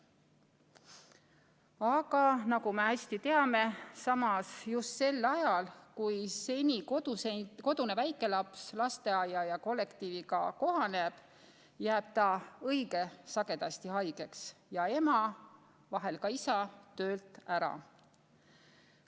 Aga nagu me hästi teame, just sel ajal, kui seni kodune väikelaps lasteaia ja kollektiiviga kohaneb, jääb ta õige sagedasti haigeks ja ema, vahel ka isa, töölt ära.